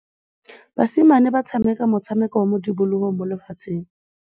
Basimane ba tshameka motshameko wa modikologô mo lebaleng.